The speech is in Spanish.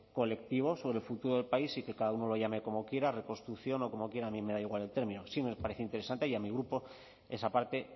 colectivo sobre el futuro del país y que cada uno lo llame como quiera reconstrucción o como quieran a mí me da igual el término sí me parece interesante y a mi grupo esa parte